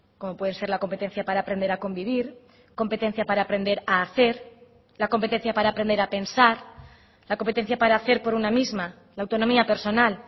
como puede ser la competencia para aprender a convivir competencia para aprender a hacer la competencia para aprender a pensar la competencia para hacer por una misma la autonomía personal